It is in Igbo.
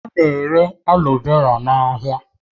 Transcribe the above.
A na-ere aloe vera n'ahịa